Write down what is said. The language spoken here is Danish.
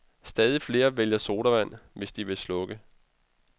Stadig flere vælger sodavand, hvis de vil slukke.